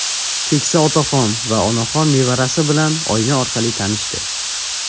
Keksa otaxon va onaxon nevarasi bilan oyna orqali tanishdi.